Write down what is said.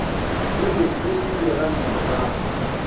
e be e le diranta